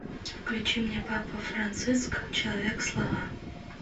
включи мне папа франциск человек слова